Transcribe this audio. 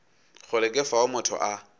kgole ke fao motho a